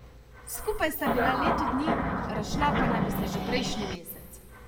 Skupaj sta bila leto dni, razšla pa naj bi se že prejšnji mesec.